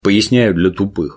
поясняю для тупых